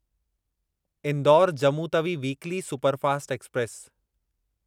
Indore Jammu Tawi weekly superfast express